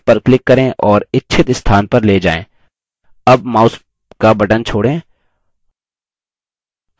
chart पर click करें और इच्छित स्थान पर ले जाएँ अब mouse का button छोड़ें